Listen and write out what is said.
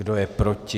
Kdo je proti?